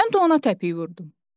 Mən də ona təpik vurdum.